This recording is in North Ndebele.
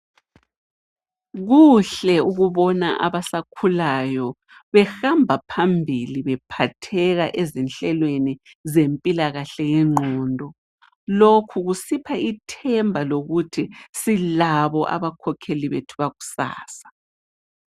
Kuhle ukubona abasakhulayo behamba phambili bephatheka ezinhlelweni zempilakahle yengqondo, lokhu kusipha ithemba lokuthi silabo abakhokheli bethu bakusasa.